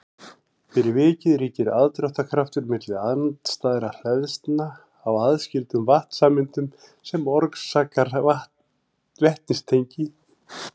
fyrir vikið ríkir aðdráttarkraftur milli andstæðra hleðslna á aðskildum vatnssameindum sem orsakar vetnistengi